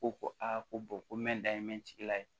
Ko ko a ko ko n bɛ n dayi n bɛ n sigila ye